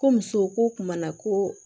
Ko muso ko kumana koo